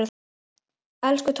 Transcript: Elsku Tóta systir.